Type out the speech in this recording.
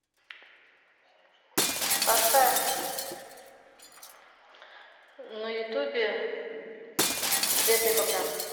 поставь на ютубе света и богдан